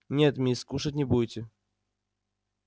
нет мисс кушать не будете